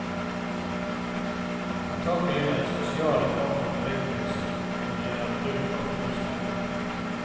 Antagelig er de sosiale faktorene viktigst når det gjelder bruk av rusmidler.